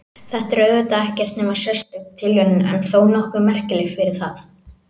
Þetta er auðvitað ekkert nema sérstök tilviljun en þó nokkuð merkileg fyrir það.